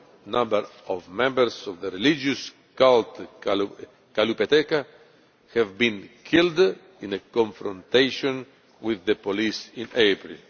number of members of the religious cult Kalupeteka were killed in a confrontation with the police in April.